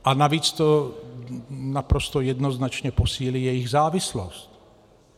A navíc to naprosto jednoznačně posílí jejich závislost.